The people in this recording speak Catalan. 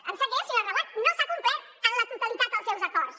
em sap greu senyora reguant no s’han com·plert en la totalitat els seus acords